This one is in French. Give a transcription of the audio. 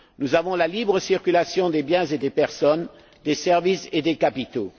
Nous avons la libre circulation des biens et des personnes, des services et des capitaux.